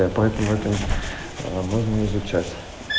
поэтому это можно изучать